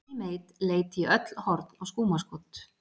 Johnny Mate leit í öll horn og skúmaskot.